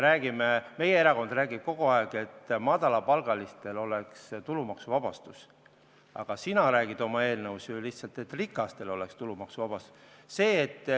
Meie erakond räägib kogu aeg sellest, et madalapalgalistel peaks olema tulumaksuvabastus, aga sina räägid oma eelnõus ju lihtsalt sellest, et rikastel oleks tulumaksuvabastus.